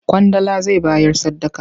Ƙwandala zai bayar sadaka.